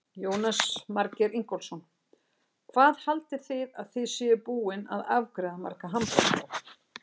Jónas Margeir Ingólfsson: Hvað haldið þið að þið séuð búin að afgreiða marga hamborgara?